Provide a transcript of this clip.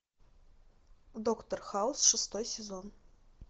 доктор хаус шестой сезон